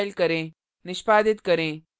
निष्पादित करें